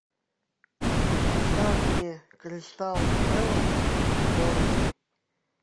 поставь мне кристал пэлас бернли